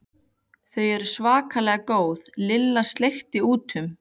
Þau eru svakalega góð Lilla sleikti út um.